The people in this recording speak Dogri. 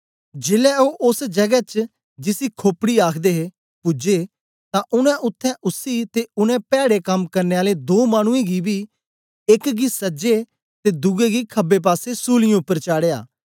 जेलै ओ ओस जगै च जिसी खोपड़ी आखदे हे पूजे तां उनै उत्थें उसी ते उनै पैड़े कम करने आलें दों मानुऐं गी बी एक गी सजे ते दुए गी खबे पासे सूलीयें उपर चाढ़या